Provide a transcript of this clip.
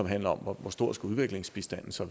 handler om hvor stor udviklingsbistanden så